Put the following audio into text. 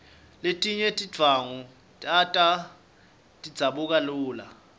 letinye tindvwangu tato tidzabuka lula